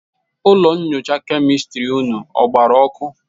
ụlọ nyocha kemịstịrị ụnụ ọ gbarụ ọkụ?